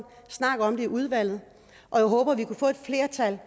snak om det i udvalget jeg håber at vi kan få et flertal